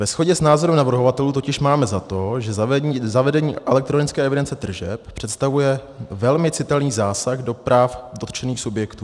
Ve shodě s názorem navrhovatelů totiž máme za to, že zavedení elektronické evidence tržeb představuje velmi citelný zásah do práv dotčených subjektů.